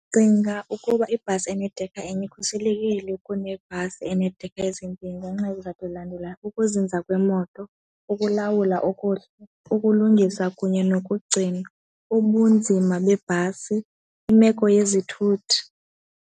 Ndicinga ukuba ibhasi enedekha enye ikhuselekile kunebhasi eneedekha ezimbini ngenxa yezizathu ezilandelayo, ukuzinza kwemoto, ukulawula okuhle, ukulungisa kunye nokugcinwa, ubunzima beebhasi, imeko yezithuthi.